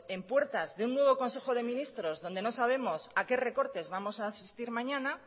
bueno pues en puertas de un nuevo consejo de ministros donde no sabemos a qué recortes vamos a asistir mañana